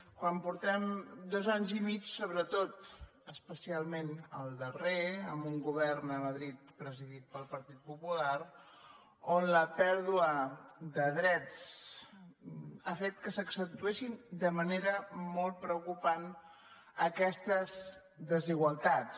quan portem dos anys i mig sobretot especialment el darrer amb un govern a madrid presidit pel partit popular on la pèrdua de drets ha fet que s’accentuessin de manera molt preo·cupant aquestes desigualtats